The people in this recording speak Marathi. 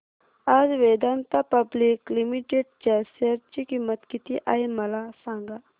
आज वेदांता पब्लिक लिमिटेड च्या शेअर ची किंमत किती आहे मला सांगा